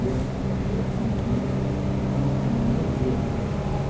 Esse é o nome que consta no meu bilhete de identidade.